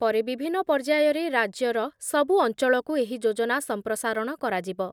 ପରେ ବିଭିନ୍ନ ପର୍ଯ୍ୟାୟରେ ରାଜ୍ୟର ସବୁ ଅଞ୍ଚଳକୁ ଏହି ଯୋଜନା ସଂପ୍ରସାରଣ କରାଯିବ ।